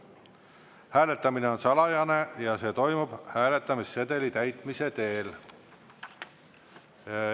Hääletamine on salajane ja see toimub hääletamissedeli täitmise teel.